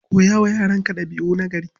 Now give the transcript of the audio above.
Koya wa yaranka ɗabi'u nagari.